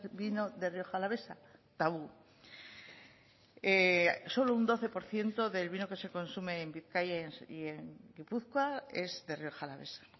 vino de rioja alavesa tabú solo un doce por ciento del vino que se consume en bizkaia y en gipuzkoa es de rioja alavesa